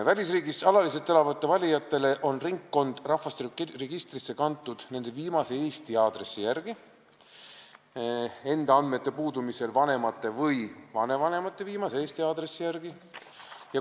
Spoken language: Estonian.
Välisriigis alaliselt elava valija ringkond on rahvastikuregistrisse kantud tema viimase Eesti aadressi järgi ning kui isikul endal need andmed puuduvad, siis vanemate või vanavanemate viimase Eesti aadressi järgi.